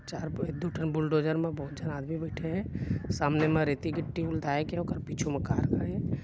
चार पेड़ दू ठन बुलडोजर मे बहुत झन आदमी बइठे हे सामने म रेती गिट्टी लेकिन उखर पिछु म कार खड़े --